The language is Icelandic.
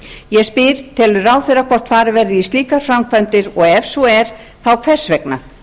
ég spyr telur ráðherra hvort farið verði í slíkar framkvæmdir og ef svo er þá hvers vegna